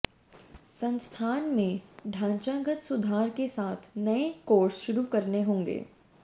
संस्थान में ढांचागत सुधार के साथ नए कोर्स शुरू करने होंगे